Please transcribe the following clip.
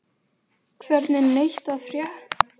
Hvergi neitt að frétta af Arndísi.